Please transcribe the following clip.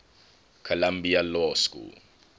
columbia law school